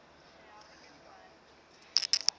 finite state machine